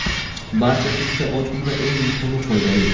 Barchasi juda oddiy va eng muhimi - foydali!